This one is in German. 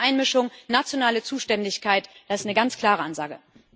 Keine Einmischung, nationale Zuständigkeit das ist eine ganz klare Ansage.